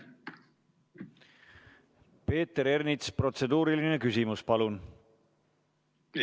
Peeter Ernits, protseduuriline küsimus, palun!